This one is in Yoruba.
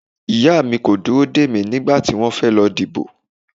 Ìyá mi kò dúró dè mí nígbà tí wọ́n fẹ́ lọ dìbò.